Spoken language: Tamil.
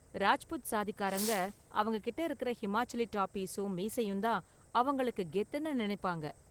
ராஜ்புத் சாதிக்காரங்க அவங்க கிட்ட இருக்கற ஹிமாச்சலி டாபிஸும் மீசையும் தான் அவங்களுக்கு கெத்துனு நினைப்பாங்க.